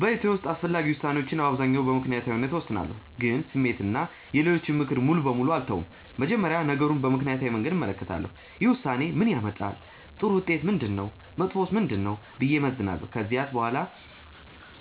በሕይወቴ ውስጥ አስፈላጊ ውሳኔዎችን በአብዛኛው በምክንያታዊነት እወስናለሁ፣ ግን ስሜትን እና የሌሎችን ምክር ሙሉ በሙሉ አልተውም። መጀመሪያ ነገሩን በምክንያታዊ መንገድ እመለከታለሁ። ይህ ውሳኔ ምን ያመጣል? ጥሩ ውጤቱ ምንድነው? መጥፎውስ ምንድነው? ብዬ እመዝናለሁ። ከዚያ በኋላ